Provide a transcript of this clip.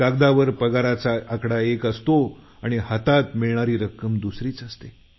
कागदावर पगाराचा आकडा एक असतो आणि हातात मिळणारी रक्कम दुसरी असते